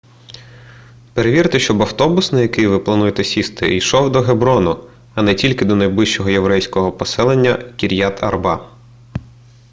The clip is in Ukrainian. перевірте щоб автобус на який ви плануєте сісти йшов до геброну а не тільки до найближчого єврейського поселення кір'ят арба